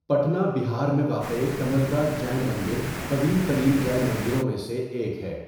پٹنہ، بہار میں واقع کملدہ جین مندر، قدیم ترین جین مندروں میں سے ایک ہے۔